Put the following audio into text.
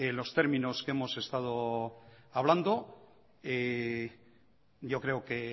los términos hemos estado hablando yo creo que